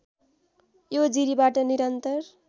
यो जिरिबाट निरन्तर